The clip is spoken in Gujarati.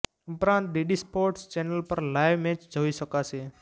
ઉપરાંત ડીડી સ્પોર્ટ્સ ચેનલ પર પણ લાઇવ મેચ જોઇ શકાશે